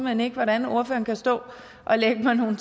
hen ikke hvordan ordføreren kan stå og lægge mig nogle